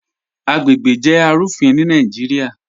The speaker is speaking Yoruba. Agbègbè jẹ́ arúfìn ni Naijíríà.